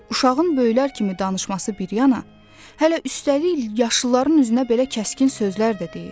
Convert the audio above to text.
Uşağın böyüklər kimi danışması bir yana, hələ üstəlik yaşlıların üzünə belə kəskin sözlər də deyir.